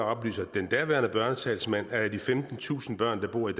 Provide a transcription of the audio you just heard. oplyser den daværende børnetalsmand at af de femtentusind børn der bor i